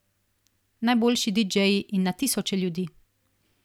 Najboljši didžeji in na tisoče ljudi.